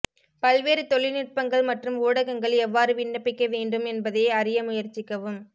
பல்வேறு தொழில்நுட்பங்கள் மற்றும் ஊடகங்கள் எவ்வாறு விண்ணப்பிக்க வேண்டும் என்பதை அறிய முயற்சிக்கவும்